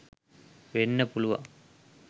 වෙන්න පුළුවන්